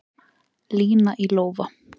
Lína í lófa